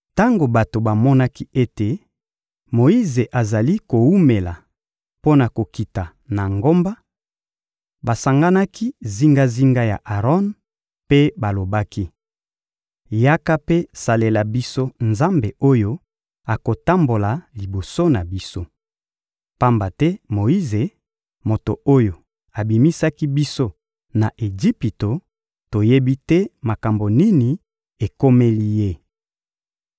Tango bato bamonaki ete Moyize azali kowumela mpo na kokita na ngomba, basanganaki zingazinga ya Aron mpe balobaki: — Yaka mpe salela biso nzambe oyo akotambola liboso na biso. Pamba te Moyize, moto oyo abimisaki biso na Ejipito, toyebi te makambo nini ekomeli ye.